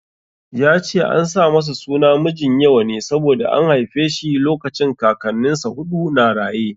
Ya ce an sa masa suna Mijinyawa ne saboda an haife shi lokacin Kakannin sa huɗu na raye.